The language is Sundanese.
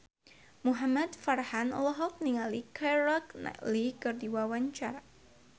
Muhamad Farhan olohok ningali Keira Knightley keur diwawancara